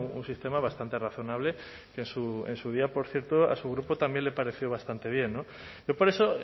un sistema bastante razonable que en su día por cierto a su grupo también le pareció bastante bien yo por eso